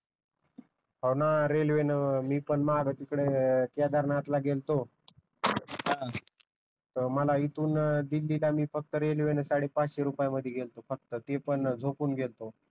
हो न रेलवे मी पण माग तिकड केदारनाथ ला गेलतो त मला इथून दिल्ली ला मी फक्त रेलवे न साडे पाचशे रुपयात मध्ये गेलतो फक्त ते पण झोपून गेलतो